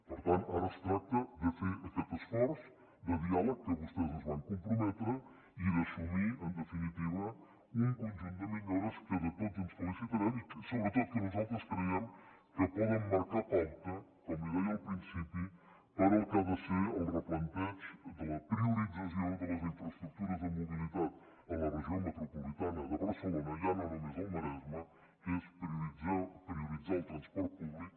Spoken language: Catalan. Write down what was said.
per tant ara es tracta de fer aquest esforç de diàleg a què vostès es van comprometre i d’assumir en definitiva un conjunt de millores de què tots ens felicitarem i sobretot que nosaltres creiem que poden marcar pauta com li deia al principi per al que ha de ser el replanteig de la priorització de les infraestructures de mobilitat a la regió metropolitana de barcelona ja no només al maresme que és prioritzar el transport públic